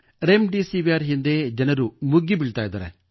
REM ಡೆಸಿವಿರ್ ಹಿಂದೆ ಜನರು ಮುಗಿಬೀಳುತ್ತಿದ್ದಾರೆ